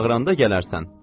Çağıranda gələrsən.